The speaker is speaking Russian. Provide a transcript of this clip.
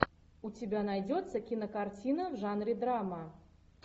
у тебя найдется кинокартина в жанре драма